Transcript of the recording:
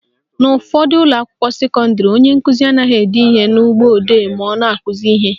N'ụfọdụ ụlọakwụkwọ sekọndịrị, onye nkụzi anaghị ede ihe na mgbọodee ma ọ na-akụzi ihe.